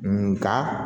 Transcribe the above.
Nga